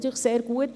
Das ist sehr gut.